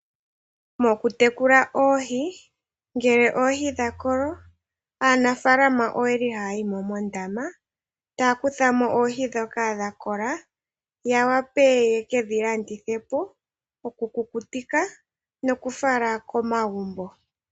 Mokutekula oohi, ngele oohi dha kolo, aanafaalama oye li haa yi mo mondama, taa kutha mo oohi ndhoka dha kola, ya wape ye ke dhi landithe po, okukukutika nokufala komagumbo.